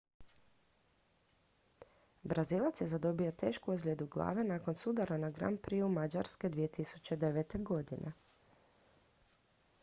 brazilac je zadobio tešku ozljedu glave nakon sudara na grand prixu mađarske 2009